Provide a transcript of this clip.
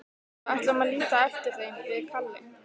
Við ætlum að líta eftir þeim, við Kalli.